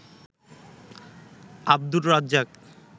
Abdur Razzak